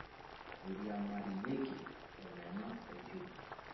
miriamayioki omena oo njugu